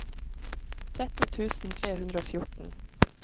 tretten tusen tre hundre og fjorten